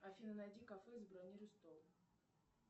афина найди кафе и забронируй стол